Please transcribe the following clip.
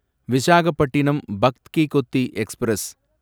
Visakhapatnam Bhagat Ki Kothi express